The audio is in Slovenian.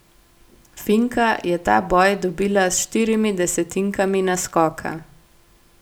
Finka je ta boj dobila s štirimi desetinkami naskoka.